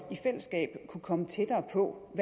kunne komme tættere på